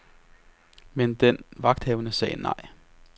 Men den vagthavende sagde nej.